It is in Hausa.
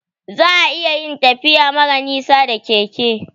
Za'a iya yin tafiya mara nisa da keke